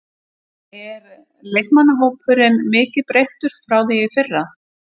Er leikmannahópurinn mikið breyttur frá því í fyrra?